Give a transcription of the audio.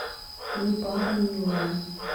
непара милая